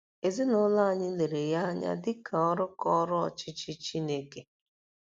Ezinụlọ anyị lere ya anya dị ka ọrụ ka ọrụ ọchịchị Chineke.